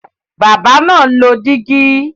Bábà náà ń lọ dígí.